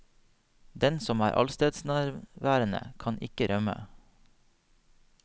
Den som er allestedsnærværende, kan ikke rømme.